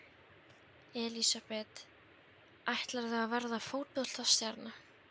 Elísabet: Ætlarðu að verða fótboltastjarna?